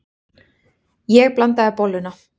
Ég blandaði bolluna.